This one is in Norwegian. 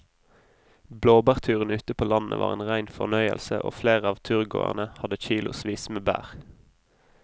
Blåbærturen ute på landet var en rein fornøyelse og flere av turgåerene hadde kilosvis med bær.